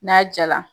N'a jala